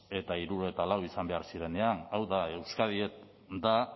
eta hirurogeita lau izan behar zirenean hau da euskadi da